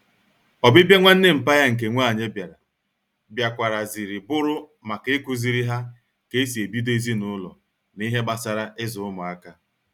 Obibia nwanne mpa ya nke nwanyi biara, biakwara ziri buru maka ikuziri ha ka esi ebido ezinulo na ihe gbasara izu umuaka